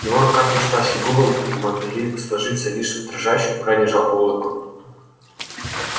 его рука тряслась и губы могли сложиться лишь в дрожащую крайне жалкую улыбку